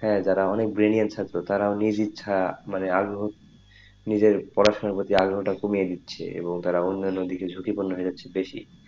হ্যাঁ যারা অনেক brilliant ছাত্র তারাও নিজের ইচ্ছা তারা পড়াশোনার প্রতি আগ্রহ টা কমিয়ে দিচ্ছে এবং তারা অন্যান্য দিকে ঝুকি পূর্ণ হয়ে যাচ্ছে বেশি,